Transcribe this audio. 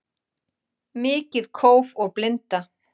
Mikið kóf og blinda